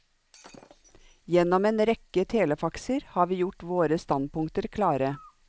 Gjennom en rekke telefaxer har vi gjort våre standpunkter klare.